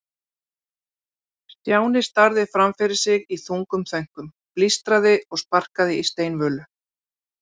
Stjáni starði fram fyrir sig í þungum þönkum, blístraði og sparkaði í steinvölur.